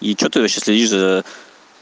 и что ты вообще следишь за